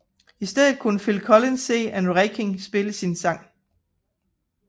I stedet kunne Phil Collins se Ann Reinking spille hans sang